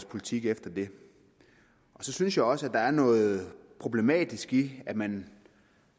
politik efter det så synes jeg også at der er noget problematisk i at man